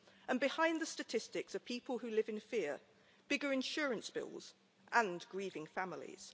And behind the statistics are people who live in fear, bigger insurance bills, and grieving families.